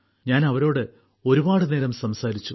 ഞാൻ അവരോട് ഒരുപാട് നേരം സംസാരിച്ചു